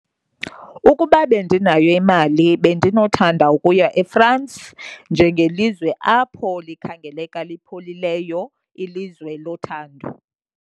Ukuba bendinayo imali bendinothanda ukuya eFrance njengelizwe apho likhangeleka lipholileyo, ilizwe lothando.